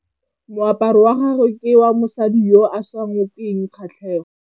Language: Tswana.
Moaparô wa gagwe ke wa mosadi yo o sa ngôkeng kgatlhegô.